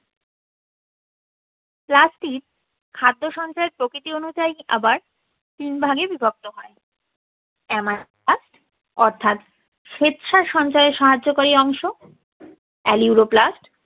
plastids খাদ্য সঞ্চয়ের প্রকৃতি অনুযায়ীই আবার তিন ভাগে বিভক্ত হয়। অর্থাৎ শ্বেতসার সঞ্চয়ে সাহায্য করি অংশ। aleuroplasts